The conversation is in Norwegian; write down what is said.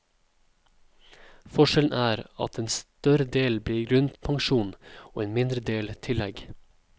Forskjellen er at en større del blir grunnpensjon og en mindre del tillegg.